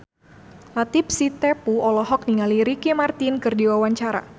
Latief Sitepu olohok ningali Ricky Martin keur diwawancara